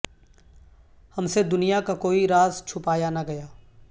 ہم سے دنیا کا کوئی راز چھپایا نہ گیا